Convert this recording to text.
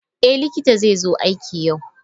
Eh likita zai zo aiki yau.